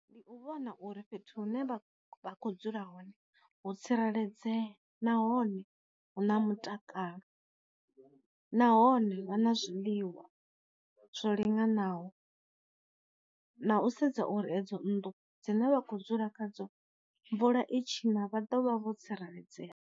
Ndi u vhona uri fhethu hune vha vha kho dzula hone vho tsireledzea nahone hu na mutakalo, nahone vha na zwiḽiwa zwo linganaho, na u sedza uri edzo nnḓu dzine vha kho dzula kha dzo mvula i tshi ina vha ḓovha vho tsireledzea.